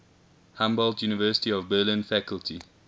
humboldt university of berlin faculty